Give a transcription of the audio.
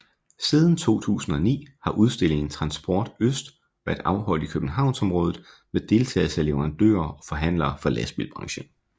Siden 2009 har udstillingen Transport Øst været afholdt i københavnsområdet med deltagelse af leverandører og forhandlere fra lastbilbranchen